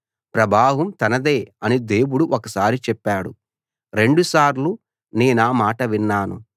ప్రభావం తనదే అని దేవుడు ఒకసారి చెప్పాడు రెండుసార్లు నేనా మాట విన్నాను